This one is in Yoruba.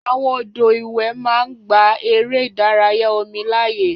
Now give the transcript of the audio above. Àwọn odò ìwẹ̀ máa ń gba eré ìdárayá omi láàyè.